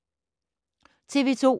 TV 2